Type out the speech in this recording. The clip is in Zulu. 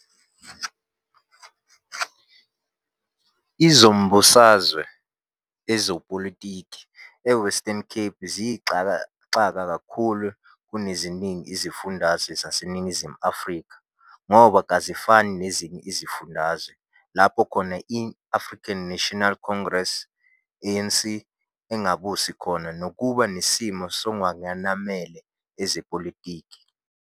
Izombusazwe, ezepolitiki, eWestern Cape ziyisixakaxaka kakhulu kuneziningi izifundazwe zaseNingizimu Afrika, ngoba, kazifani nezinye izifundazwe lapho khona i-African National Congress, ANC, engabusi khona nokuba nesimo sokwengamela ezepolitiki.